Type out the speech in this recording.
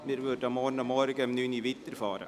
Wir setzen die Beratungen morgen um 9 Uhr fort.